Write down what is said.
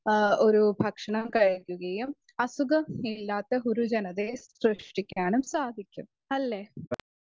Speaker 2 ഒരു ഭക്ഷണം കഴിക്കുകയും അസുഖമില്ലാത്ത ഒരു ജനതേയും സൃഷ്ടിക്കാനും സാധിക്കും അല്ലെ ?